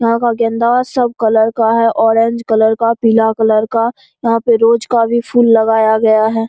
यहाँ का गेंदा सब कलर का है ऑरेंज कलर का पीला कलर का यहाँ पे रोज का भी फुल लगाया गया है।